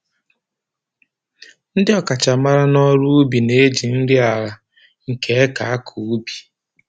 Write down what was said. Ndị ọkachamara n'ọrụ ubi na-eji nri ala nke eke akọ ubi